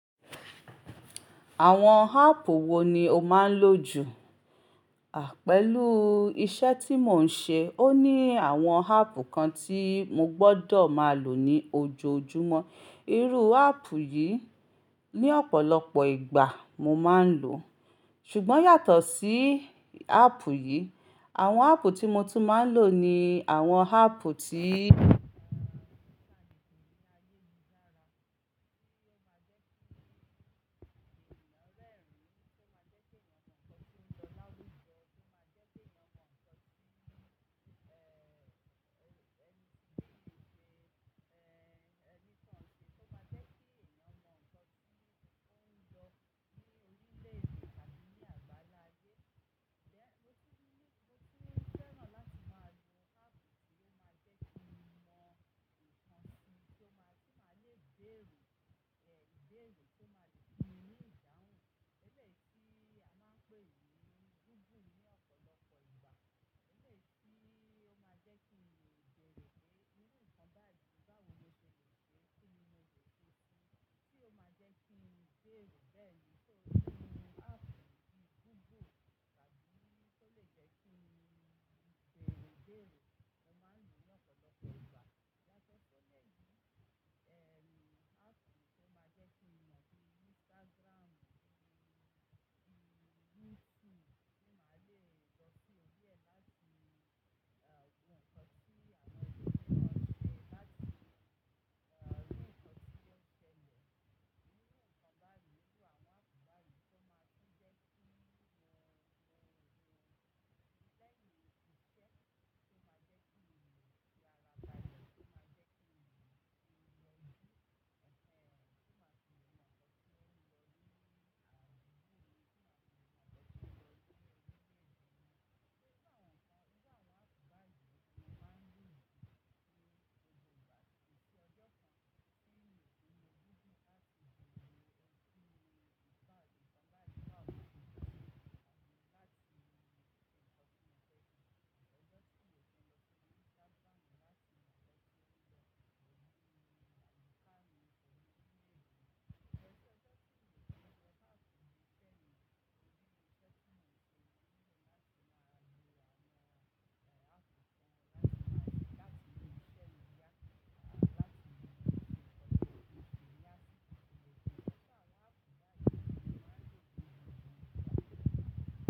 Àwọn áàpù wo ni o máa ń lò jù? À, pẹ̀lú iṣẹ́ tí mò ń ṣe, ó ní àwọn áàpù kan tí mo gbọ́dọ̀ máa lò ní ojoojúmọ́. Irú áàpù yìí ní ọ̀pọ̀lọpọ̀ ìgbà mo máa ń lò. Ṣùgbọ́n yàtọ̀ sí áàpù yìí, àwọn áàpù tí mo tún máa ń lò ni àwọn áàpù tí.